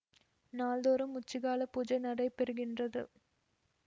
நாள் தோறும் உச்சிக்காலப் பூஜை நடைபெறுகின்றது